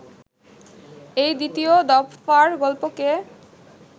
এই দ্বিতীয় দফার গল্পকে